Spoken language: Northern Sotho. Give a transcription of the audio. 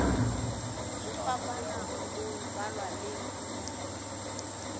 go fapana go balwa le